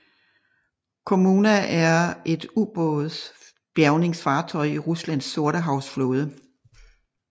Kommuna er et ubådsbjærgingfartøj i Ruslands sortehavsflåde